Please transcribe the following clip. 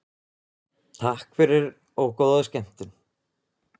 Takk fyrir og góða skemmtun.